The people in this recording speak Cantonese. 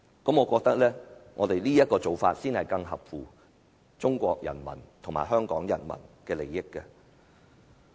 我覺得這種做法才更合乎中國人民和香港人民的利益。